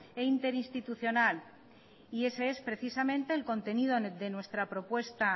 e interinstitucional y ese es precisamente el contenido de nuestra propuesta